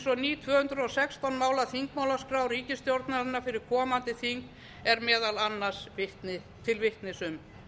ný tvö hundruð og sextán mála þingmálaskrá ríkisstjórnarinnar fyrir komandi þing er meðal annars til vitnis um grunnur hefur verið lagður að mestu